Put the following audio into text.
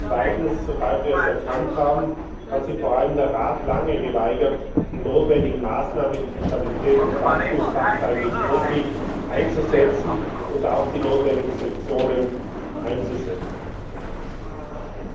Zweitens, sobald wir es erkannt haben, hat sich vor allem der Rat lange geweigert, die notwendigen Maßnahmen, die der Stabilitäts und Wachstumspakt eigentlich vorsieht, einzuleiten und auch die notwendigen Sanktionen zu verhängen.